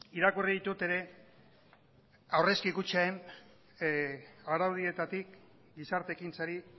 irakurri ditut ere aurrezki kutxen araudietatik gizarte ekintzari